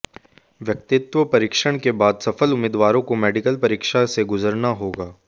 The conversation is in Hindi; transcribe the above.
व्यक्तित्व परीक्षण के बाद सफल उम्मीदवारों को मेडिकल परीक्षा से गुजरना होगा